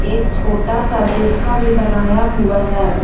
एक छोटा सा दीर्खा भी बनाया हुआ है।